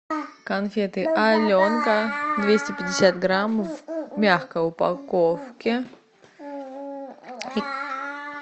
конфеты аленка двести пятьдесят грамм в мягкой упаковке